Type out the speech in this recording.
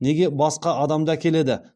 неге басқа адамды әкеледі